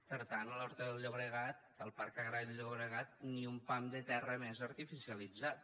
per tant a l’horta del llobregat al parc agrari del llobregat ni un pam de terra més artificialitzat